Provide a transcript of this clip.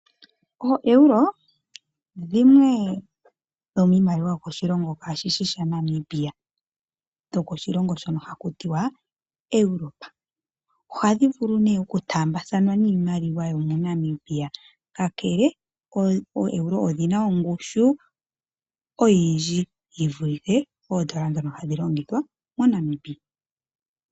OoEuro dhimwe dho miimaliwa yokoshilongo kashishi shaNamibia, dho ko shilongo shono ha ku tiwa Europe. Oha dhi vulu nee oku taambathanwa niimaliwa yo moNamibia. Kakele ooEuro odhina ongushu oyindji yi vulithe oondola dhoka hadhi longithwa moNamibia.